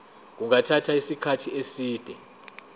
kungathatha isikhathi eside